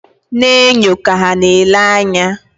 Na-enyo ka ha na-ele anya